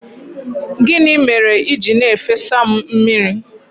Gịnị mere i ji na-efesa m mmiri?